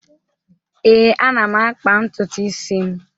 Ee, ana m akpa ntutu isi m.